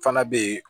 Fana bɛ yen